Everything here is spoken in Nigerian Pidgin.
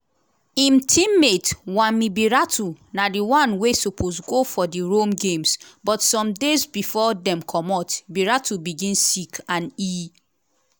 im teammate wami biratu na di one wey suppose go for di rome games but some days bifor dem comot biratu begin sick and e